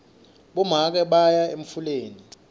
bomake baya embuleni